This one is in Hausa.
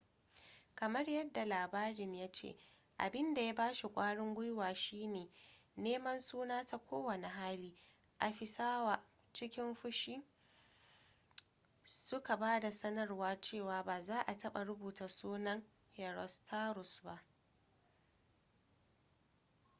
kamar yadda labarin ya ce abin da ya ba shi ƙwarin guiwa shi ne neman suna ta kowane hali afisawa cikin fushi suka ba da sanarwar cewa ba za a taɓa rubuta sunan herostratus ba